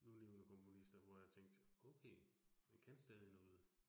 Nulevende komponister, hvor jeg tænkte okay, han kan stadig noget